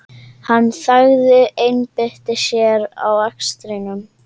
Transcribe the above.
Hann þagði, einbeitti sér að akstrinum.